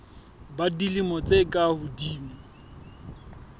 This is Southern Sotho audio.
ba dilemo tse ka hodimo